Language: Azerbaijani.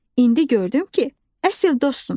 İndi gördüm ki, əsl dostsunuz.